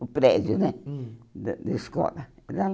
o prédio né hum da da escola.